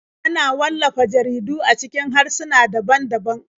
Ana wallafa jaridu a cikin harsuna daban-daban.